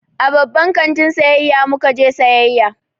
A babban kantin sayayya mu ka je sayayya.